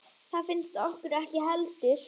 Það finnst okkur ekki heldur.